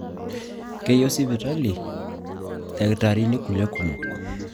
Keyiu sipitali ildakitarini kulie kumok